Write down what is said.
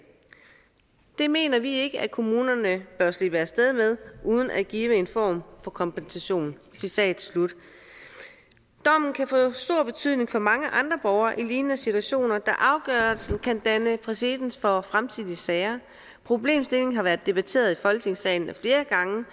det mener vi ikke kommunerne bør kunne slippe afsted med uden at give en form for kompensation citat slut dommen kan få stor betydning for mange andre borgere i lignende situationer da afgørelsen kan danne præcedens for fremtidige sager problemstillingen har været debatteret i folketingssalen ad flere gange